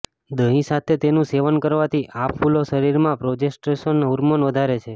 દહીં સાથે તેનું સેવન કરવાથી આ ફૂલો શરીરમાં પ્રોજેસ્ટેરોન હોર્મોન વધારે છે